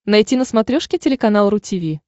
найти на смотрешке телеканал ру ти ви